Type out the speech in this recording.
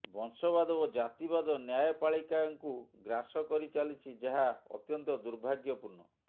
ବଂଶବାଦ ଓ ଜାତିବାଦ ନ୍ୟାୟପାଳିକାଙ୍କୁ ଗ୍ରାସ କରି ଚାଲିଛି ଯାହା ଅତ୍ୟନ୍ତ ଦୁର୍ଭାଗ୍ୟପୂର୍ଣ୍ଣ